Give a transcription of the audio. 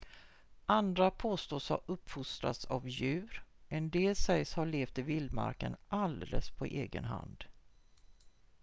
andra påstås ha uppfostrats av djur en del sägs ha levt i vildmarken alldeles på egen hand